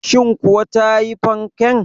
Shin kuwa ta yi fanken?